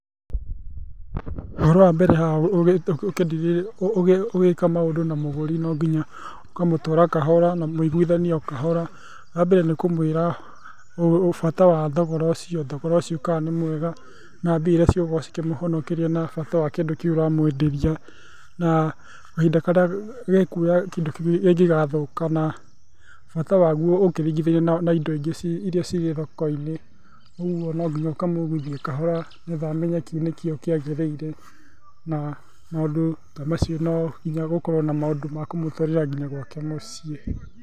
Ũhoro wa mbere haha ũgika maũndũ na mũgũri no nginya ũkamũtwara kahora na mũiguithanie o kahora. Wa mbere nĩ kũmũĩra bata wa thogora ũcio, thogora ũcio kana nĩ mwega na mbia iria cigũkorwo cikĩmũhonokeria na bata wa kĩndũ kĩu ũramwenderia. Na kahinda karĩa gĩkuoya kĩndũ kĩu kĩngĩgathũka, na bata waguo ũkĩringithania na indo ingĩ iria cirĩ thoko-inĩ. Ũguo no nginya ũkamũiguithia kahora nĩ getha amenye kĩu nĩkĩo kĩagĩrĩire. Na maũndũ ta macio no nginya gũkorwo na maũndũ ma kumũtwarĩra nginya gwake mũciĩ.